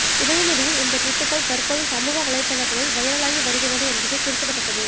உதயநிதியின் இந்த டுவிட்டுக்கள் தற்போது சமூக வலைத்தளங்களில் வைரலாகி வருகிறது என்பது குறிப்பிடத்தக்கது